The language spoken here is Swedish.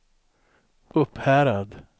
Upphärad